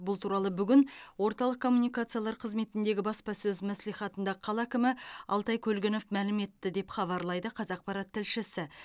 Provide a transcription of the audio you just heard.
бұл туралы бүгін орталық коммуникациялар қызметіндегі баспасөз мәслихатында қала әкімі алтай көлгінов мәлім етті деп хабарлайды қазақпарат тілшісі